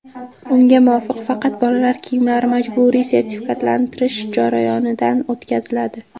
Unga muvofiq, faqat bolalar kiyimlari majburiy sertifikatlashtirish jarayonidan o‘tkaziladi.